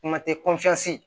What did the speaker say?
Kuma tɛ